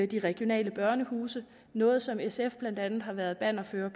de regionale børnehuse noget som sf blandt andet har været bannerfører